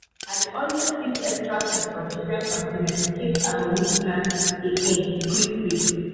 i dey always keep extra seed for different container in case i go need plant again quick-quick.